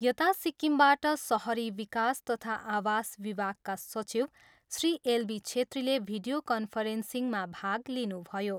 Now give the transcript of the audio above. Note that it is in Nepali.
यता सिक्किमबाट सहरी विकास तथा आवास विभागका सचिव श्री एलबी छेत्रीले भिडीयो कन्फरेन्सिङमा भाग लिनुभयो।